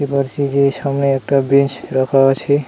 মসজিদের সামনে একটা বেঞ্চ রাখা আছে।